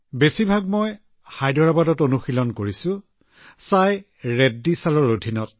বেছিভাগেই মই হায়দৰাবাদত অনুশীলন কৰিছো চাই ৰেড্ডি চাৰৰ তত্বাৱধানত